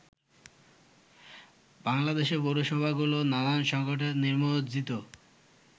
বাংলাদেশের পৌরসভাগুলো নানান সংকটে নিমজ্জিত।